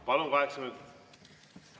Palun, kaheksa minutit!